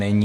Není.